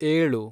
ಏಳು